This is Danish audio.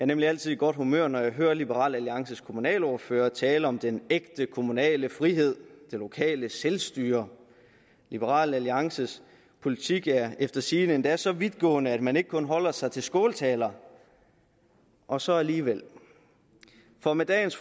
nemlig altid i godt humør når jeg hører liberal alliances kommunalordfører tale om den ægte kommunale frihed det lokale selvstyre liberal alliances politik er efter sigende endda så vidtgående at man ikke kun holder sig til skåltaler og så alligevel for med dagens